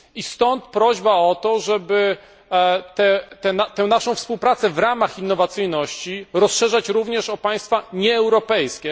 Stąd prośba o to, żeby tę naszą współpracę w ramach innowacyjności rozszerzać również o państwa nieeuropejskie.